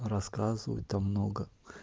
рассказывать там много